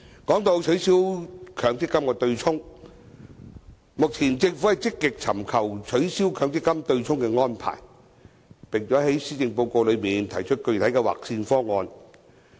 談到取消強積金對沖，目前政府積極尋求取消強積金對沖的安排，並在施政報告內提出具體的"劃線"方案。